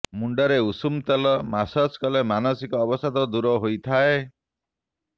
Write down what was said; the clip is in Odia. ମୁଣ୍ଡରେ ଉଷୁମ ତେଲ ମସାଜ କଲେ ମାନସିକ ଅବସାଦ ଦୂର ହୋଇଥାଏ